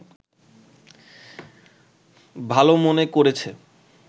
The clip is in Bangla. ভালো মনে করেছে